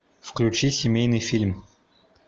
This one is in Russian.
включи семейный фильм